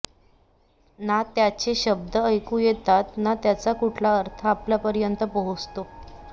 ना त्याचे शब्द ऐकू येतात ना त्याचा कुठला अर्थ आपल्यापर्यंत पोहोचतो